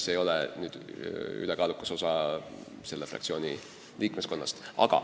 See ei ole ülekaalukas osa selle fraktsiooni liikmeskonnast.